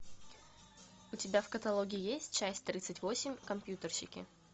у тебя в каталоге есть часть тридцать восемь компьютерщики